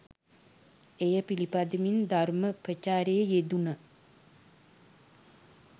එය පිළිපදිමින් ධර්ම ප්‍රචාරයෙහි යෙදුන